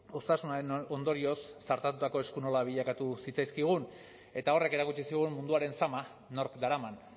osasunaren ondorioz zartatutako esku nola bilakatu zitzaizkigun eta horrek erakutsi zigun munduaren zama nork daraman